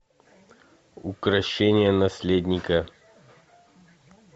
укрощение наследника